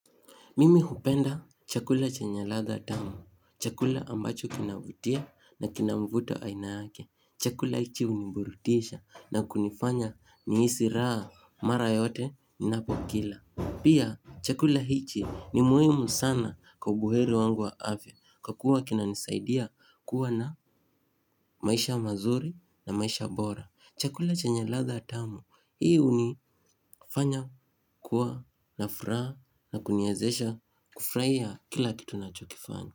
Mimi hupenda chakula chenye ladha tamu. Chakula ambacho kinavutia na kina mvuto aina yake. Chakula hichi uniburutisha na kunifanya niisi raha mara yote ninapokila. Pia chakula hichi ni muimu sana kwa ubuheri wangu wa afya kwa kuwa kinanisaidia kuwa na maisha mazuri na maisha bora. Chakula chenya ladha tamu. Hii hunifanya kuwa na furaha na kuniezesha kufurahia kila kitu nachokifanya.